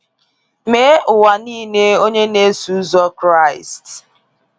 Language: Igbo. “Mee ụwa niile onye na eso ụzọ Kraịst.